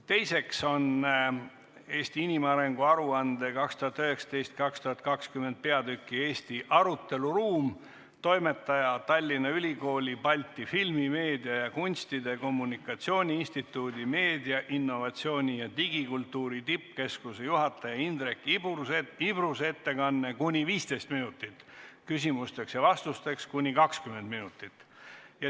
Teiseks on "Eesti inimarengu aruande 2019/2020" peatüki "Eesti aruteluruum" toimetaja, Tallinna Ülikooli Balti filmi, meedia, kunstide ja kommunikatsiooni instituudi meediainnovatsiooni ja digikultuuri tippkeskuse juhi Indrek Ibruse ettekanne, kuni 15 minutit, küsimusteks ja vastusteks on aega kuni 20 minutit.